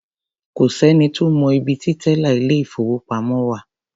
Kò sẹ́ni tó mọ ibi ti tẹ́là ilé-ìfowópamọ́ wà.